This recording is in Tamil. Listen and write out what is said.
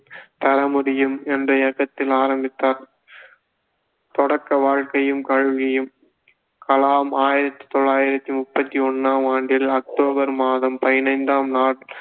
தர முடியும் என்ற இயக்கத்தை ஆரம்பித்தார் தொடக்க வாழ்க்கையும் கல்வியும் கலாம் ஆயிரத்தி தொள்ளாயிரத்தி முப்பத்தி ஒண்ணாம் ஆண்டில் அக்டோபர் மாதம் பதினைந்தாம் நாள்